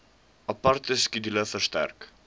aparte skedule verstrek